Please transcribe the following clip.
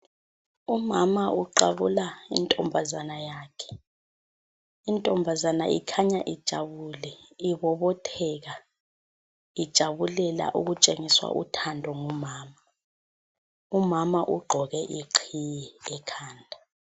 Umama uqabula intombazane yakhe .Intombazana ikhanya ijabule, ibobotheka ijabulela ukutshengiswa uthando ngumama. Umama ugqoke iqhiye ekhanda.